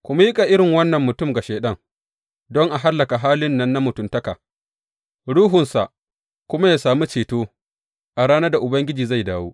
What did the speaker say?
Ku miƙa irin wannan mutum ga Shaiɗan, don a hallaka halin nan na mutuntaka, ruhunsa kuma yă sami ceto a ranar da Ubangiji zai dawo.